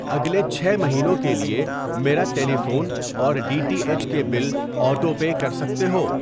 اگلے چھ مہینوں کے لیے میرا ٹیلی فون اور ڈی ٹی ایچ کے بل آٹو پے کر سکتے ہو؟